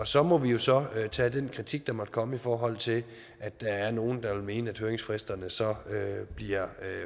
så må vi jo så tage den kritik der måtte komme i forhold til at der er nogle der vil mene at høringsfristerne så bliver